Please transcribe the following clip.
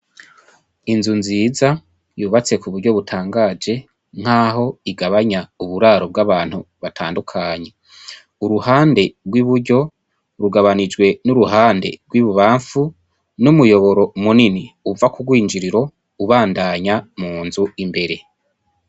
Inzu nziza yubatse ku buryo butangaje nkaho igabanya uburaro bw'abantu batandukanye. Uruhande rw'iburyo rugabanijwe n'uruhande rw'ibubamfu n'umuyoboro munini uva ku rwinjiriro ubandanya mu nzu imbere.